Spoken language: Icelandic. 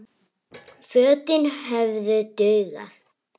Fötin hefðu dugað.